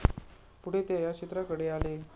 पुढे ते या क्षेत्राकडे आले.